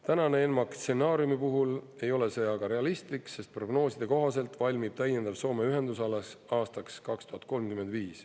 Tänase ENMAK stsenaariumi puhul ei ole see aga realistlik, sest prognooside kohaselt valmib täiendav Soome ühendus alles aastaks 2035.